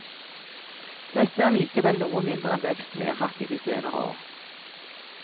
Dette er likevel noe mindre enn veksten vi har hatt i de senere år.